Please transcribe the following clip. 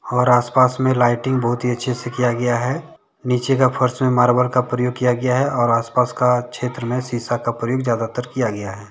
और आसपास में लाइटिंग बहुत ही अच्छे से किया गया है। नीचे का फर्श में मार्बल का प्रयोग किया गया है। और आसपास का क्षेत्र में शीशा का प्रयोग ज्यादातर किया गया है।